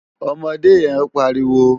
Òmòdé yén pàríwó